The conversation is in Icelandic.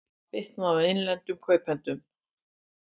Það bitni á innlendum kaupendum